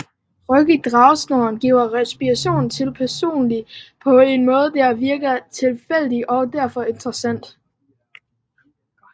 Ryk i dragesnoren giver responser til personen på en måde der virker tilfældig og derfor interessant